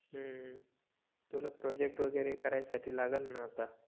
हम्म तुला प्रोजेक्ट वगेरे करायसाठी लागल न आता